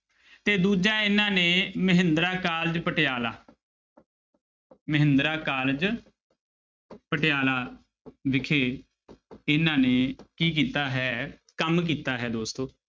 ਤੇ ਦੂਜਾ ਇਹਨਾਂ ਨੇ ਮਹਿੰਦਰਾ college ਪਟਿਆਲਾ ਮਹਿੰਦਰਾ college ਪਟਿਆਲਾ ਵਿਖੇ ਇਹਨਾਂ ਨੇ ਕੀ ਕੀਤਾ ਹੈ ਕੰਮ ਕੀਤਾ ਹੈ ਦੋਸਤੋ।